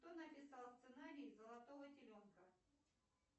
кто написал сценарий золотого теленка